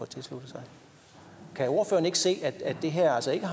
tilsluttet sig kan ordføreren ikke se at det her altså ikke